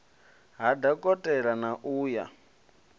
ha dokotela na u ya